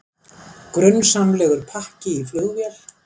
Grunsamlegur pakki í flugvél